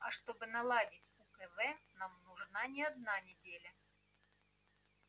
а чтобы наладить укв нам нужна не одна неделя